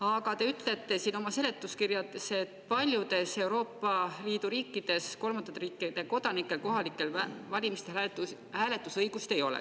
Aga te ütlete siin oma seletuskirjas, et paljudes Euroopa Liidu riikides kolmandate riikide kodanikel kohalikel valimistel hääletusõigust ei ole.